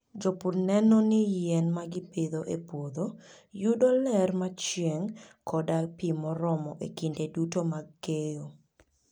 Jopur neno ni yien ma gipidho e puodho yudo ler mar chieng' koda pi moromo e kinde duto mag keyo.